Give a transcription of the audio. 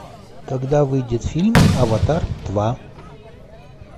когда выйдет фильм аватар два